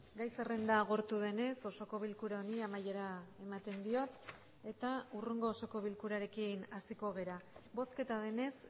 gai zerrenda agortu denez osoko bilkura honi amaiera ematen diot eta hurrengo osoko bilkurarekin hasiko gara bozketa denez